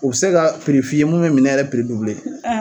U bɛ se ka piri f'i ye mun bɛ minɛn yɛrɛ piri